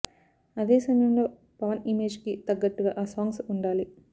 అదే సమయంలో పవన్ ఇమేజ్ కి తగ్గట్టుగా ఆ సాంగ్స్ ఉండాలి